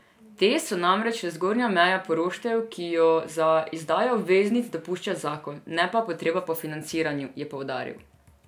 Te so namreč le zgornja meja poroštev, ki jo za izdajo obveznic dopušča zakon, ne pa potreba po financiranju, je poudaril.